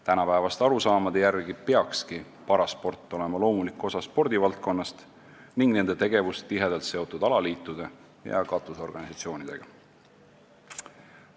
Tänapäevaste arusaamade järgi peakski parasport olema spordivaldkonna loomulik osa ning nende tegevus tihedalt seotud alaliitude ja katusorganisatsioonidega.